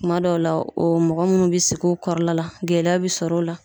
Kuma dɔw la o mɔgɔ munnu bi sigi u kɔrɔla la gɛlɛya be sɔrɔ o la